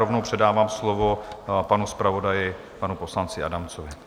Rovnou předávám slovo panu zpravodaji, panu poslanci Adamcovi.